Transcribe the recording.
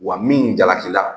Wa min jalaki la